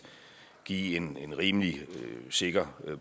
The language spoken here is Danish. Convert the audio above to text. give en en rimelig sikker